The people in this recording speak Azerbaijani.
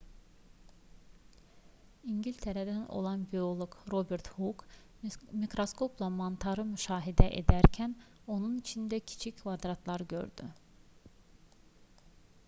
i̇ngiltərədən olan bioloq robert huk mikraskopla mantarı müşahidə edərkən onun içində kiçik kvadratlar gördü